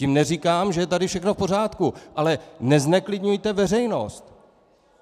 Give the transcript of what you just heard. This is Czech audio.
Tím neříkám, že je tady všechno v pořádku, ale nezneklidňujte veřejnost!